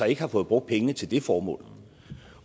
ikke har fået brugt pengene til det formål